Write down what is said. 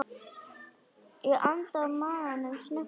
Ég anda maganum snöggt inn.